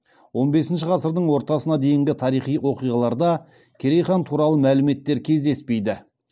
он бесінші ғасырдың ортасына дейінгі тарихи оқиғаларда керей хан туралы мәліметтер кездеспейді